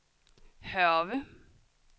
Hørve